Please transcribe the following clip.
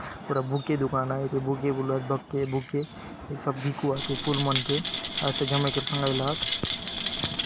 पूरा बुके दुकान आय एके बुके बलुआत बके बुके ये सब बिकुआत फूल मन के अच्छा जमाय करि सोंगायला आत।